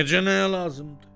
Necə nəyə lazımdı?